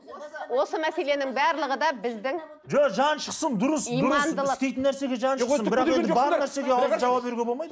осы мәселенің барлығы да біздің жаны шықсын дұрыс дұрыс істейтін нәрсеге жаны шықсын бірақ енді бар нәрсеге аузын жауа беруге болмайды